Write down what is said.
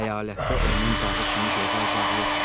Əyalətdə onun bağı kimi gözəl bağ yox idi.